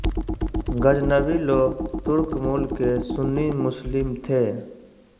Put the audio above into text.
गज़नवी लोग तुर्क मूल के सुन्नी मुस्लिम थे